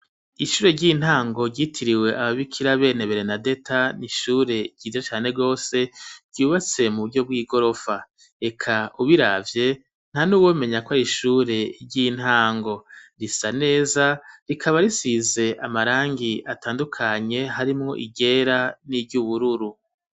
Ishure ry'intango ryitiriwe aba bikira bene berenadeta n'ishure ryiza cane gose ryubatse mu buryo bw'igorofa eka ubiravye nta nuwomenya kwari ishure ry'intango risa neza rikaba risize amarangi atandukanye harimwo iryera n'iryubururu.